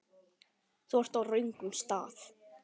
Þú ert á röngum stað